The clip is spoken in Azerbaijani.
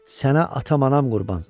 Sənə atam anam qurban!